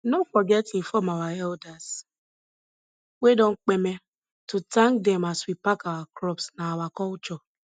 no forget inform our elders wey don kpeme to thank dem as we pack our crops na our culture